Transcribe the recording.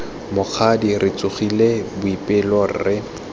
mokgadi re tsogile boipelo re